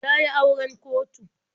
Ta yi auren kotu.